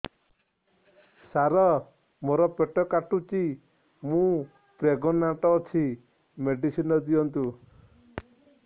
ସାର ମୋର ପେଟ କାଟୁଚି ମୁ ପ୍ରେଗନାଂଟ ଅଛି ମେଡିସିନ ଦିଅନ୍ତୁ